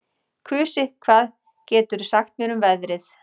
Kusi, hvað geturðu sagt mér um veðrið?